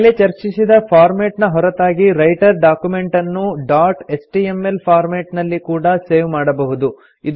ಮೇಲೆ ಚರ್ಚಿಸಿದ ಫಾರ್ಮೆಟ್ ನ ಹೊರತಾಗಿ ರೈಟರ್ ಡಾಕ್ಯುಮೆಂಟನ್ನು ಡಾಟ್ ಎಚ್ಟಿಎಂಎಲ್ ಫಾರ್ಮೆಟ್ ನಲ್ಲಿ ಕೂಡಾ ಸೇವ್ ಮಾಡಬಹುದು